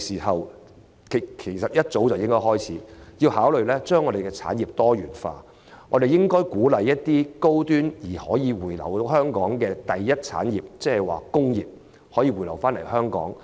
香港早應設法讓產業多元化，鼓勵高端並可回流香港的第一產業——即工業——回流香港。